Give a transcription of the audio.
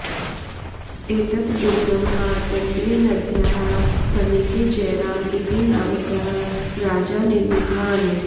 एतत् दुर्गं मार्कण्डेयनद्याः समीपे जयराम इति नामकः राजा निर्मितवान्